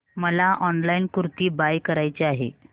मला online kurti buy करायची आहे